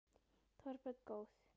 Þorbjörn: Góð?